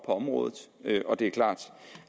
området og det er klart